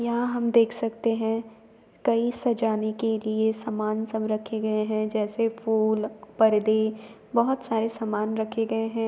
यहाँ हम देख सकते हैं। कई सजाने के लिए सामान सब रखे गए है जैसे फूल परदे बहुत सारे सामान रखे गए हैं।